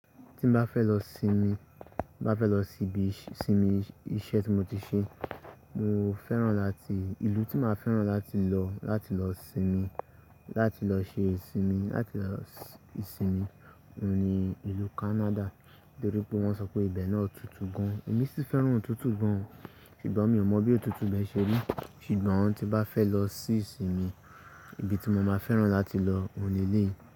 Tí n bá fẹ́ lọ sinmi, bá fẹ́ lọ síbi ìsinmi iṣẹ́ tí mo ti ṣe, mo fẹ́ràn láti, ìlú tí máa fẹ́ràn láti lọ láti lọ sinmi, láti lọ ṣe ìsinmi, láti lọ ìsinmi, òun ni ìlú Canada. Nítorí pé wọ́n sọ pé ibẹ̀ náà tútù gan. Èmi sì fẹ́ràn òtútù gan, ṣùgbọ́n mi ò mọ bí òtútù ibẹ̀ ṣe rí. Ṣùgbọ́n tí bá fẹ́ lọ sí ìsinmi, ibi tí mo máa fẹ́ràn láti lọ òun ni eléyí.